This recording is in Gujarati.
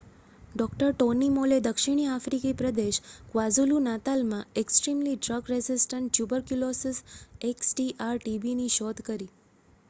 ડૉ. ટોની મોલે દક્ષિણ આફ્રિકી પ્રદેશ ક્વાઝુલુ-નાતાલમાં એક્સ્ટ્રીમલી ડ્રગ રેઝિસ્ટન્ટ ટ્યુબરક્યુલોસિસ xdr-tbની શોધ કરી